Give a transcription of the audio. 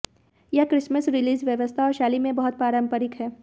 यह Christmas release व्यवस्था और शैली में बहुत पारंपरिक है